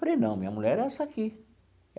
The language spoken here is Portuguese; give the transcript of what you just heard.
Falei, não, minha mulher é essa aqui.